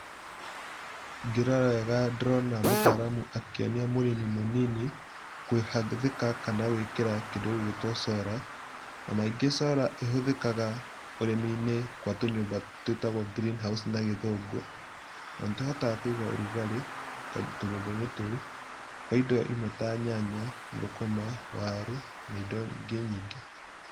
Ngĩrora wega ndĩrona mũtaramu akĩonia mũrĩmi mũnini, kũgathĩka kana gwĩkĩra kĩndũ gĩgwĩtwo Sora, na maingĩ Sora ihũthĩkaga ũrĩmi-inĩ gwa tũnyũmba twĩtagwo greenhouse na gĩthũngũ, na nĩ tũhotaga kũiga ũrugarĩ tũnyũmba-inĩ tou, kwa indo imwe ta nyanya, thũkũma, waru na indo ingĩ nyingĩ.